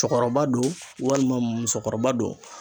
Cɔkɔrɔba do, walima musokɔrɔba do.